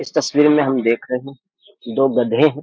इस तस्स्वीर में हम देख रहे है दो गधे हैं।